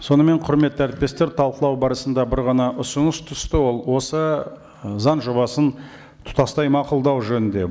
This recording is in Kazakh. сонымен құрметті әріптестер талқылау барысында бір ғана ұсыныс түсті ол осы ы заң жобасын тұтастай мақұлдау жөнінде